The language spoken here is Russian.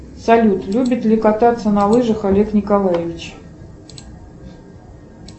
салют любит ли кататься на лыжах олег николаевич